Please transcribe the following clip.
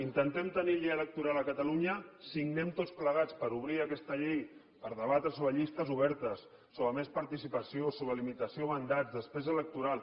intentem tenir llei electoral a catalunya signem tots plegats per obrir aquesta llei per debatre sobre llistes obertes sobre més participació sobre limitació de mandats despesa electoral